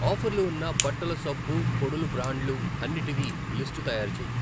ఆఫర్లు ఉన్న బట్టల సబ్బు పొడులు బ్రాండ్లు అన్నిటివి లిస్టు తయారు చేయి.